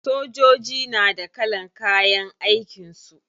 Sojoji na da kalan kayan aikin su.